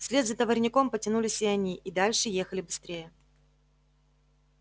вслед за товарняком потянулись и они и дальше ехали быстрее